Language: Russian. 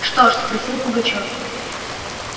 что ж спросил пугачёв